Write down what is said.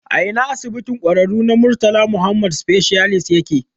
A Ina asibitin ƙwararru na Murtala Muhammed Specialist yake?